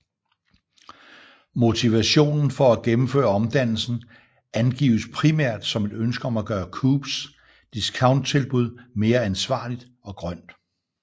Motivationen for at gennemføre omdannelsen angives primært som et ønske om at gøre Coops discounttilbud mere ansvarligt og grønt